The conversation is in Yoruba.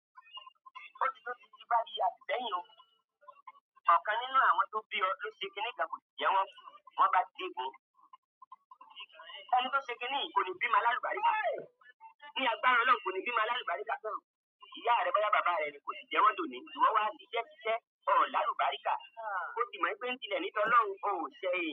Ó ti tó ti ti bá di àbí sẹ́yìn o, ọ̀kan nínú àwọn tó bí ọ ló ṣe kíní ìjà kò tí jẹ wọ́n, wọ́n bá di òpin. Ẹni tó ṣe kíní kò lè bímọ alálùbáríkà. Ní àgbára Ọlọ́run kò lè bímọ lálùbáríkà tán. Ìyá rẹ bá ya bàbá rẹ ni kò le jẹ wọ́n dòní, ṣùgbọ́n wọ́n wá ṣiṣẹ́ ti ṣẹ́ ọ̀ lálùbáríkà. O ti mọ̀ pé ń tílẹ̀ ni tí Ọlọ́run ó ṣẹ́ ẹ.